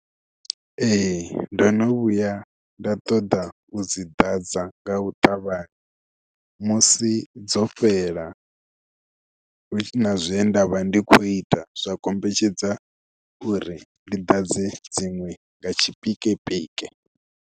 Ee ndo no vhuya nda ṱoḓa u dzi ḓadza nga u ṱavhanya musi dzo fhela hu si na zwe nda vha ndi khou ita, zwa kombetshedza uri ndi dadze dziṅwe nga tshipikepike.